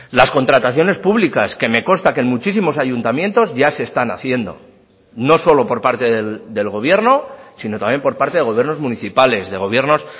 las contrataciones públicas que me consta que en muchísimos ayuntamientos ya se están haciendo no solo por parte del gobierno sino también por parte de gobiernos municipales de gobiernos